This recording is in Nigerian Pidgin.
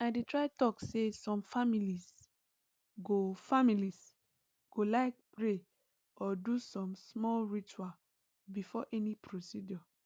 i dey try talk say some families go families go like pray or do some small ritual before any procedure